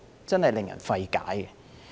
真的令人費解。